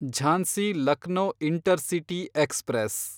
Jhansi– Lucknow intercity express